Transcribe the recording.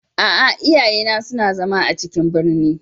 A'a, iyaye na suna zama a cikin birni.